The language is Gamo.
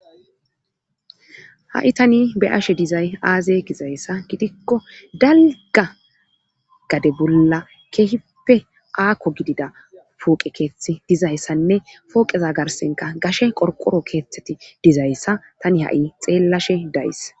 ha7i tani be'ashe dizay aaze gizayssa gidikko dalga gade bolla keehippe aakko gidida puuqe keeththi dizayssanne pooqeza garsenka gashe qorqoro keeththeti dizayssa tani ha7i xeellashe days